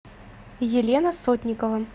елена сотникова